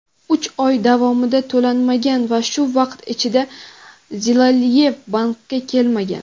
Uch oy davomida to‘lanmagan va shu vaqt ichida Zilaliyev bankka kelmagan.